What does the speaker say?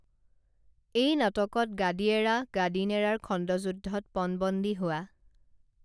এই নাটকত গাদী এৰা গাদী নেৰাৰ খণ্ডযুদ্ধত পণবন্দী হোৱা